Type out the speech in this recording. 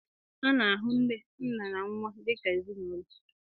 A na-ahụ nne, nna, na nwa dị ka ezinụlọ